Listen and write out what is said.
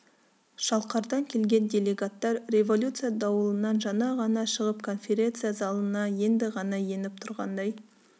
шалқардан келген делегаттар революция дауылынан жаңа ғана шығып конференция залына енді ғана еніп тұрғандай